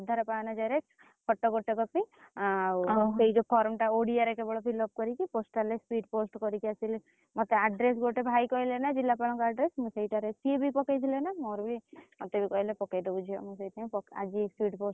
ତୋ Aadhar PAN xerox photo ଗୋଟେ copy ସେଇ ଯଉ form ଟା ଓଡିଆ ରେ କେବଳ fillup କରିକି postal ରେ speed post କରିକି ଆସିଲେ ମତେ address ଭାଇ କହିଲେ ନା ଜିଲ୍ଲାପାଳ ଙ୍କ address ମୁଁ ସେଇଟାରେ ସିଏ ବି ପକେଇଥିଲେ ନା ମୋର ବି ମତେବି କହିଲେ ପକେଇଦବୁ ଝିଅ ମୁଁ ସେଇଥିପାଇଁ ଆଯି speed post